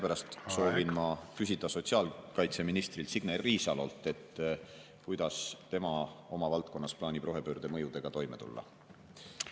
Seepärast soovin ma küsida sotsiaalkaitseministrilt Signe Riisalolt, kuidas tema oma valdkonnas plaanib rohepöörde mõjudega toime tulla.